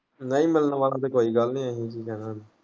ਨਹੀਂ ਮਿਲਣ ਵਰ ਤੇ ਕੋਈ ਗੱਲ ਨਹੀਂ ਅਸੀਂ ਕੀ ਕਹਿਣਾ ਉਹਨੂੰ।